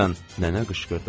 Nənə qışqırdı.